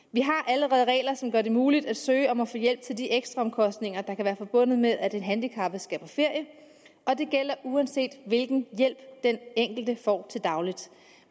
allerede regler som gør det muligt at søge om at få hjælp til de ekstraomkostninger der kan være forbundet med at en handicappet skal på ferie og det gælder uanset hvilken hjælp den enkelte får til daglig